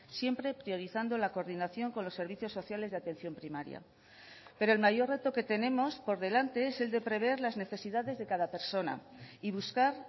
siempre priorizando la coordinación con los servicios sociales de atención primaria pero el mayor reto que tenemos por delante es el de prever las necesidades de cada persona y buscar